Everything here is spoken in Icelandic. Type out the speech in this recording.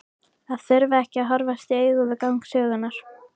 Að þurfa ekki að horfast í augu við gang sögunnar.